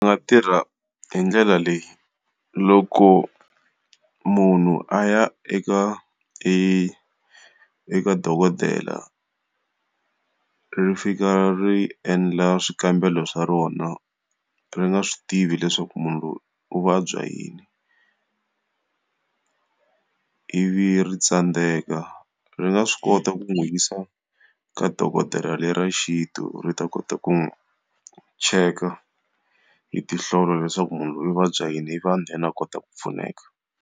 Va tirha hi ndlela leyi, loko munhu a ya eka eka dokodela ri fika ri endla swikambelo swa rona ri nga swi tivi leswaku munhu loyi u vabya yini ivi ri tsandzeka, ri nga swi kota ku n'wi yisa ka dokodela le ra xintu ri ta kota ku n'wi cheka hi tinhlola leswaku munhu loyi u vabya yini ivi then a kota ku pfuneka.